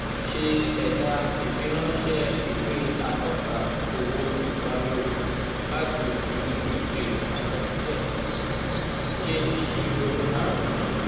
se ẹ̀dà ìfiránsẹ́ ìwé atọ́ka owó ìparí oṣù láti inú ìwé àkọsílẹ̀. um ṣe ìṣirò márùn-ún.